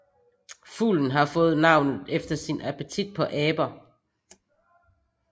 Fuglen har fået navnet efter sin appetit på aber